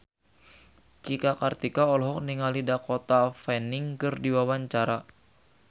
Cika Kartika olohok ningali Dakota Fanning keur diwawancara